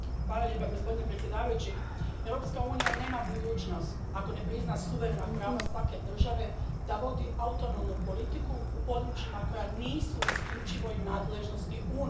Gospodine predsjedavajući, Europska unija nema budućnost ako ne prizna suverena prava svake države da vodi autonomnu politiku u područjima koja nisu u isključivoj nadležnosti Unije.